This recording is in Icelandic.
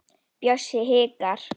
Bjössi hikar.